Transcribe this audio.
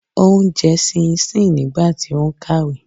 Ó ń jẹ ṣinsíǹ nígbà tí ó ń kàwé.